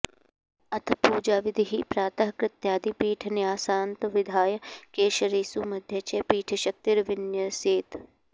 अथ पूजाविधिः प्रातः कृत्यादि पीठन्यासान्तविधाय केसरेषु मध्ये च पीठशक्तीर्विन्यसेत्